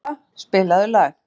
Kala, spilaðu lag.